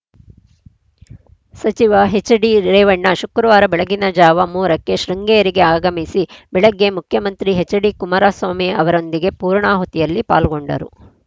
ಸಚಿವ ಹೆಚ್‌ಡಿರೇವಣ್ಣ ಶುಕ್ರವಾರ ಬೆಳಗಿನ ಜಾವ ಮೂರ ಕ್ಕೆ ಶೃಂಗೇರಿಗೆ ಆಗಮಿಸಿ ಬೆಳಗ್ಗೆ ಮುಖ್ಯಮಂತ್ರಿ ಎಚ್‌ಡಿ ಕುಮಾರಸ್ವಾಮಿ ಅವರೊಂದಿಗೆ ಪೂರ್ಣಹುತಿಯಲ್ಲಿ ಪಾಲ್ಗೊಂಡರು